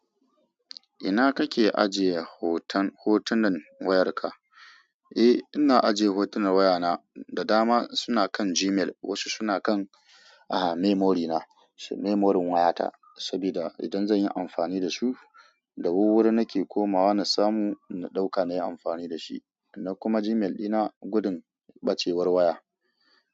Ina kake ajiye hoton-hotunan wayarka? Eh, ina ajiye hotunan wayana, da dama suna kan Gmail, wasu suna kan, ahh, memory na, memory wayata, sabida idan zan yi amfani da su, da wuwwuri nake komawa na samu na ɗauka na yi amfani da shi. Na kuma Gmail dina gudun bacewar waya.